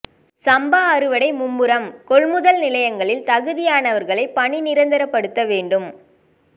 சம்பா அறுவடை மும்முரம் கொள்முதல் நிலையங்களில் தகுதியானவர்களை பணி நிரந்தரப்படுத்த வேண்டும்